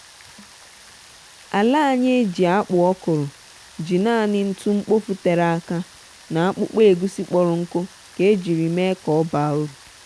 ala anyị e ji akpụ okro ji naanị ṅtu mkpofu tere aka na akpụkpọ egusi kporo ṅku ka e jiri mee ka ọ baa uru